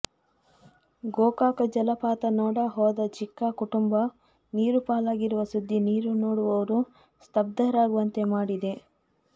ಗೋಕಾಕ ಜಲಪಾತ ನೋಡ ಹೋದ ಚಿಕ್ಕ ಕುಟುಂಬ ನೀರು ಪಾಲಾಗಿರುವ ಸುದ್ದಿ ನೀರು ನೋಡುವವರು ಸ್ತಬ್ಧರಾಗುವಂತೆ ಮಾಡಿದೆ